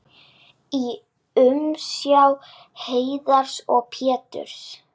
í umsjá Heiðars og Péturs.